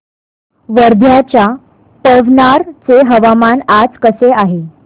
वर्ध्याच्या पवनार चे हवामान आज कसे आहे